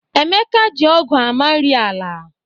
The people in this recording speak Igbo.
Emeka ji ọ́gụ̀ amari ala.